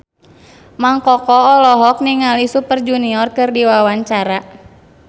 Mang Koko olohok ningali Super Junior keur diwawancara